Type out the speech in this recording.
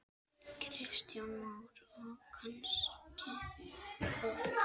Kristján Már: Og kannski oft?